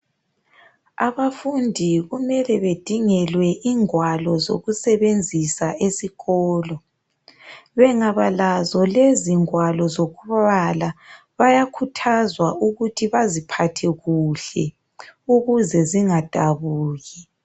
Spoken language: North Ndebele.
Abafundi kumele bedingelwe ingwalo zokusebenzisa esikolo. Bengaba lazo lezi ngwalo zokubala, bayakhuthazwa ukuthi baziphathe kuhle ukuze zingadabuki.